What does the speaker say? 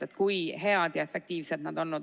See näitab, kui hea ja efektiivne keegi on olnud.